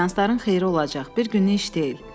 Seansların xeyri olacaq, bir günlük iş deyil.